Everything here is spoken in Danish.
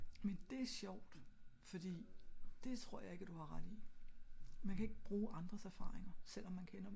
men det er sjovt fordi det tror jeg ik at du har ret i man kan ik bruge andres erfaringer selvom man kender dem